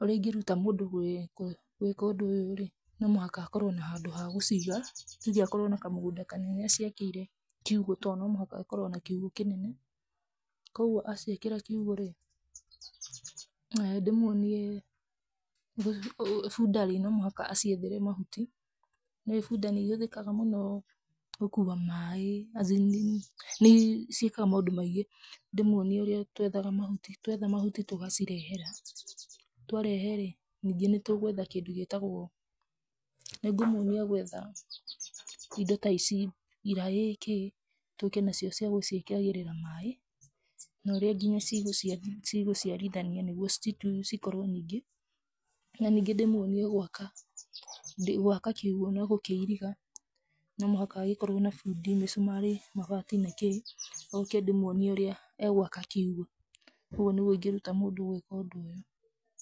Ũrĩa ingĩruta mũndũ gwĩka ũndũ ũyũ rĩ, no mũhaka akorwo na handũ ha gũciga, tuge akorwo na kamũgũnda kanene aciakĩire kiũgũ tondũ no mũhaka ĩkorwo na kiũgũ kĩnene. Koguo aciĩkĩra kiũgũ rĩ, ndĩmuonie bunda rĩ, no mũhaka aciethere mahuti. Nĩ ũĩ bunda nĩ ihũthĩkaga mũno gũkua maĩ, azin nĩ ciĩkaga maũndũ maingĩ. Ndĩmuonie ũrĩa tũethaga mahuti, twetha mahuti tũgacirehera, twarehe rĩ, ningĩ nĩ tũgwetha kĩndũ gĩtagwo, nĩ ngũmumia gwetha indo ta ici, iraĩ, kĩĩ, tũke nacio cia gũciĩkagĩrĩra maĩ, na ũrĩa nginya cigũciarithania nĩguo cikorwo nyingĩ. Na ningĩ ndĩmuonie gwaka kiugũ na gũkĩiriga, no mũhaka agĩkorwo na bundi, mĩcumarĩ, mabati na kĩĩ, oke ndĩmuonie ũrĩa egwaka kiugũ. Ũguo nĩguo ingĩruta mũndũ gũĩka ũndũ ũyũ.